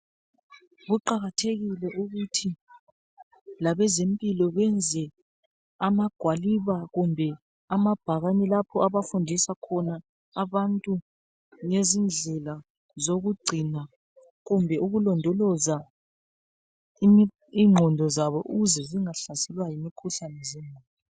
Kuqakathekile ukuthi labezempilo benze amabhakani kumbe amagwaliba lapha abafundisa khona abantu ngezindlela zokugcina kumbe ukulondoloza inqondo zabo ukuze zingahlaselwa yimikhuhlane